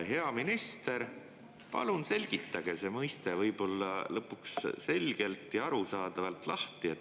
Hea minister, palun selgitage see mõiste lõpuks selgelt ja arusaadavalt lahti.